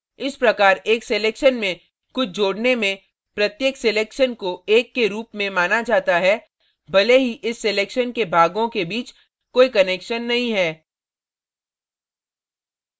इस प्रकार एक selection में कुछ जोड़ने में प्रत्येक selection को एक के रूप में माना जाता है भले ही इस selection के भागों के बीच कोई connection नहीं है